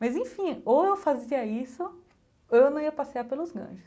Mas enfim, ou eu fazia isso, ou eu não ia passear pelos Ganges.